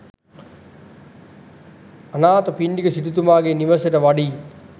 අනාථපිණ්ඩික සිටුතුමාගේ නිවසට වඩියි.